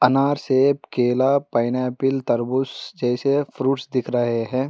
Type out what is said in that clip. अनार सेब केला पाइनएप्पल तरबूज जैसे फ्रूट्स दिख रहे है।